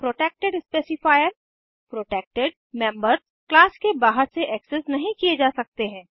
protected specifier protected members class के बाहर से एक्सेस नहीं किये जा सकते हैं